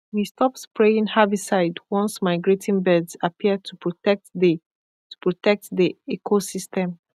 we stop spraying herbicide once migrating birds appear to protect the to protect the ecosystem